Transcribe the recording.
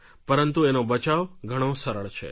પરંતુ એનો બચાવ ઘણો સરળ છે